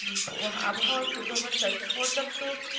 আবহাওয়ার পূর্বাভাসটা পর্যাপ্ত,